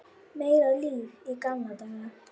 Meira líf í gamla daga?